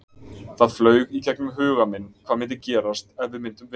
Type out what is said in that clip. Það flaug í gegnum huga minn hvað myndi gerast ef við myndum vinna?